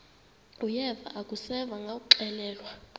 uyeva akuseva ngakuxelelwa